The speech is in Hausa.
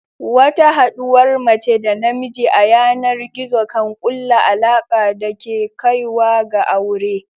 Wata haɗuwar mace da namijin a yanar gizo kan kulla alaka da ke kaiwa ga aure.